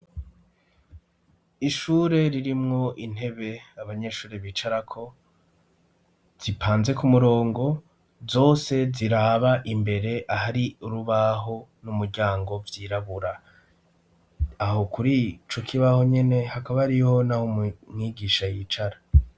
Ishure ririmwo intebe abanyeshure bicarako, zipanze ku murongo zose ziraba imbere ahari urubaho n'umuryango vyirabura. Aho kuri ico kibaho nyene hakaba hariho n'aho mwigisha yicara.